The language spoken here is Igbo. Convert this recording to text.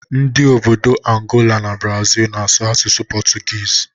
Ndị obodo Angola na Brazịl na-asụ asụsụ pọtụgiizi